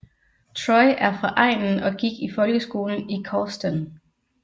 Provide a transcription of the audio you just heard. Troy er fra egnen og gik i folkeskolen i Causton